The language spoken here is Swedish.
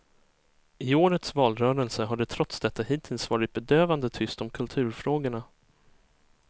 I årets valrörelse har det trots detta hittills varit bedövande tyst om kulturfrågorna.